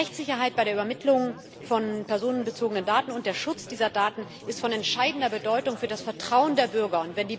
Rechtssicherheit bei der Übermittlung personenbezogener Daten und der Schutz dieser Daten sind von entscheidender Bedeutung für das Vertrauen der Bürger.